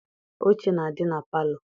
Oche na-adị na palọ.